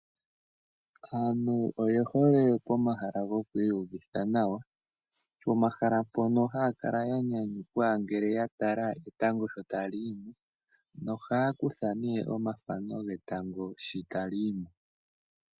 Aantu oye hole pomahala gwokwiiyuvithanawa. Pomahala mpono haya kala ya nyanyukwa ngele ya tala etango sho ta li yi mo. Nohaya kutha ne omathano getango shi ta li yi mo.